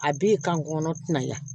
A b'i kan kɔnɔntina ya